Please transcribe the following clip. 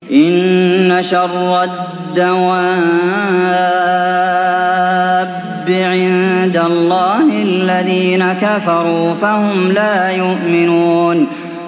إِنَّ شَرَّ الدَّوَابِّ عِندَ اللَّهِ الَّذِينَ كَفَرُوا فَهُمْ لَا يُؤْمِنُونَ